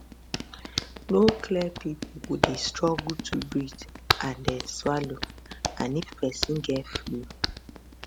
no clear pipo go dey struggle to breathe and dey swallow and if pesin get flu